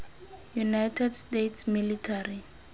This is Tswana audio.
united states military